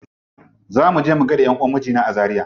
Za muje mu gaida ƴanʼuwan mijina a zaria.